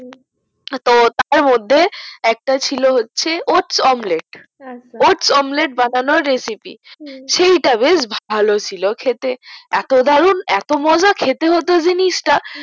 তো তার মধ্যে একটা ছিল হোচ্ছে otes-omlet আচ্ছা otes-omlet বানানোর recipe সেইটা বেশ ভালো ছিল খেতে এত দারুন এত মজা খেতে হতো জিনিসটা